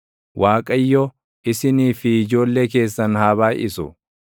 Waaqayyo, isinii fi ijoollee keessan haa baayʼisu.